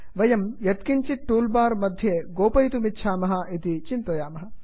वयं यत्किञ्चित् tool bar मध्ये गोपयितुमिच्छामः इति चिन्तयामः